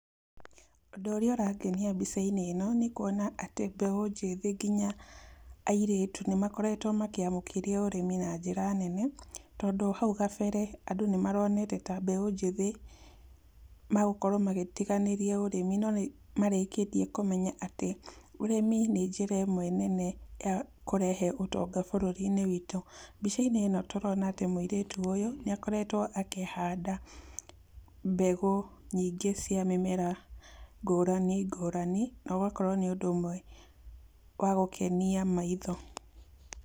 Ũndũ ũrĩa ũrangenia mbica-inĩ ĩno nĩ kũona atĩ mbeũ njĩthĩ nginya airĩtũ nĩ makoretwo makĩamũkĩria ũrĩmi na njĩra nene, tondũ hau gabere andũ nĩmaronete ta mbeũ njĩthĩ magũkorwo magĩtiganĩria ũrĩmi, no nĩmarĩkĩtie kũmenya atĩ ũrĩmi nĩ njĩra ĩmwe nene ya kũrehe ũtonga bũrũri-inĩ witũ. Mbica-inĩ ĩno tũrona atĩ mũirĩtu ũyũ, nĩ akoretwo akĩhanda mbegũ nyingĩ cia mĩmera ngũrani ngũrani na ũgakorwo nĩ ũndũ ũmwe wa gũkenia maitho.